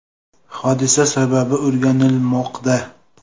Hodisa sababi o‘rganilmoqda.